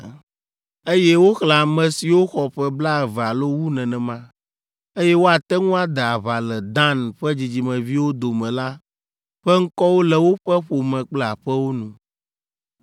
Eye woxlẽ ame siwo xɔ ƒe blaeve alo wu nenema, eye woate ŋu ade aʋa le Dan ƒe dzidzimeviwo dome la ƒe ŋkɔwo le woƒe ƒome kple aƒewo nu.